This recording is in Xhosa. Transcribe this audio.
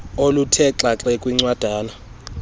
oluthe xaxe kwincwadana